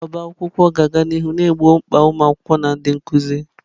Ọbá akwụkwọ ga-aga n'ihu na-egbo mkpa ụmụ akwụkwọ na ndị nkuzi